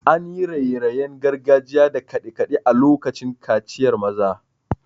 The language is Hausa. An yi raye-rayen gargajiya da kade-kade a lokacin kaciyar maza.